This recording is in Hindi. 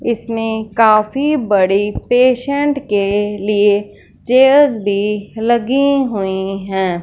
इसमें काफी बड़ी पेशेंट के लिए चेयर्स भी लगी हुई है।